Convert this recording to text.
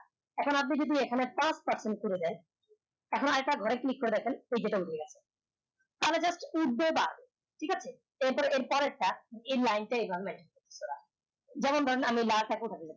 এখন আপনি যদি এখানে পাঁচ percent করে দেন এখন আরেকটা ঘরে click করে দেখেন তা হলে just উঠবে বাড়বে ঠিক আছে এর পরে এর পরের টা এই লাইন টা এভাবে mention করা হয় যেমন ধরেন